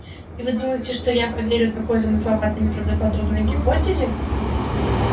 и вы думаете что я поверю такой замысловатой неправдоподобной гипотезе